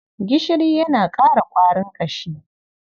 Gishiri yana ƙara ƙwarin ƙashi.